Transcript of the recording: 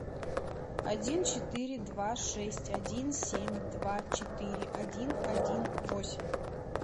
один четыре два шесть один семь два четыре один один восемь